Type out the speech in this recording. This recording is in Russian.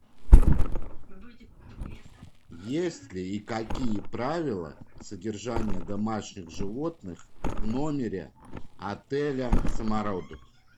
есть ли и какие правила содержания домашних животных в номере отеля самородок